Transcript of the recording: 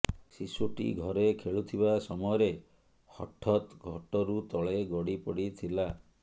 ଶିଶୁଟି ଘରେ ଖେଳୁଥିବା ସମୟରେ ହଠତ୍ ଖଟରୁ ତଳେ ଗଡ଼ି ପଡ଼ି ଥିଲା